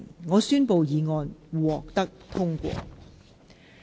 我宣布議案獲得通過。